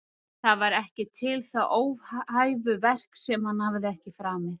Það var ekki til það óhæfuverk sem hann hafði ekki framið